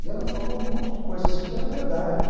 E ela falou um monte de coisa assim que era verdade.